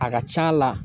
A ka c'a la